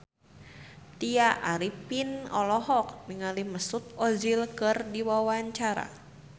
Tya Arifin olohok ningali Mesut Ozil keur diwawancara